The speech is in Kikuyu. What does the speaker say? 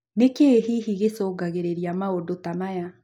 Nĩkĩĩ hihi gĩcũngagĩrĩria maũndũ ta maya?